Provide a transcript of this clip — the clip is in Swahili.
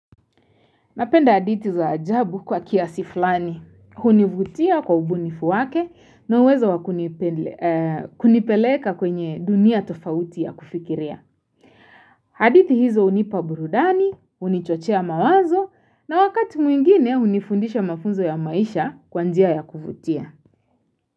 Napenda hadithi za ajabu kwa kiasi fulani. Hunivutia kwa ubunifu wake na uwezo wa kunipeleka kwenye dunia tofauti ya kufikiria. Hadithi hizo hunipa burudani, hunichochea mawazo na wakati mwingine hunifundisha mafunzo ya maisha kwa njia ya kuvutia.